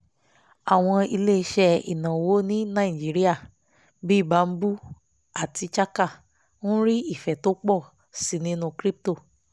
àwọn iléeṣẹ́ ìnáwó ní nàìjíríà bíi bamboo àti chaka ń rí ìfẹ́ tó ń pọ̀ sí i nínú crypto